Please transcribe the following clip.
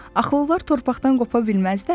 Axı onlar torpaqdan qopa bilməzlər?